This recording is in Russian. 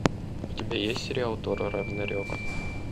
у тебя есть сериал тор рагнарек